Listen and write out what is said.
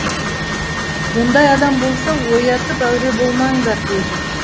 ондай адам болса оятып әуре болмаңдар деді